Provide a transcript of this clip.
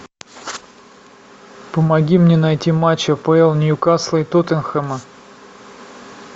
помоги мне найти матч апл ньюкасла и тоттенхэма